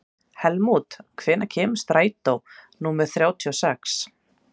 Helmút, hvenær kemur strætó númer þrjátíu og sex?